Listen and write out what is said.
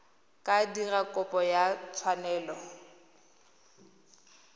ka dira kopo ya tshwanelo